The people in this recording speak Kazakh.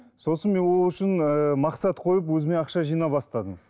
сосын мен ол үшін ыыы мақсат қойып өзіме ақша жинай бастадым